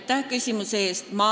Aitäh küsimuse eest!